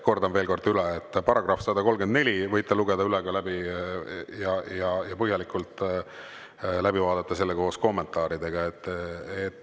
Kordan veel kord üle: § 134, võite selle üle lugeda ja põhjalikult läbi vaadata koos kommentaaridega.